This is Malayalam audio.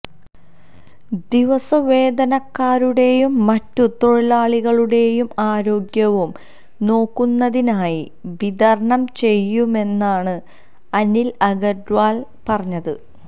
ദിവസ വേതനക്കാരുടെയും മറ്റു തൊഴിലാളികളുടെയും ആരോഗ്യവും നോക്കുന്നതിനായി വിതരണം ചെയ്യുമെന്നാണ് അനില് അഗര്വാള് പറഞ്ഞത്